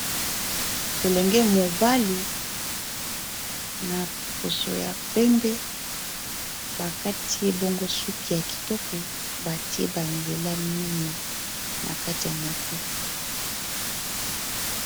Elenge mobali na poso ya pembe bakati ebongo suki ya kitoko batie banzela mine na kati ya moto